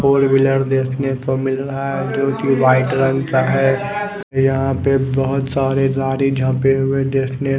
four wheeler देखने को मिल रहा है जो की व्हाइट रंग का है यहाँ पे बोहोत सारे देखने--